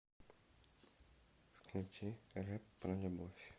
включи рэп про любовь